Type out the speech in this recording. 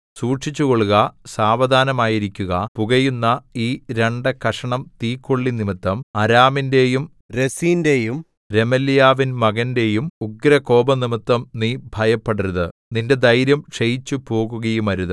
സൂക്ഷിച്ചുകൊള്ളുക സാവധാനമായിരിക്കുക പുകയുന്ന ഈ രണ്ടു കഷണം തീക്കൊള്ളി നിമിത്തം അരാമിന്റെയും രെസീന്റെയും രെമല്യാവിൻ മകന്റെയും ഉഗ്രകോപംനിമിത്തം നീ ഭയപ്പെടരുത് നിന്റെ ധൈര്യം ക്ഷയിച്ചുപോകുകയുമരുത്